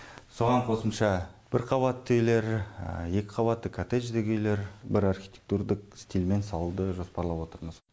соған қосымша бір қабатты үйлер екі қабатты коттеждік үйлер бір архитектурдық стильмен салуды жоспарлап отырмыз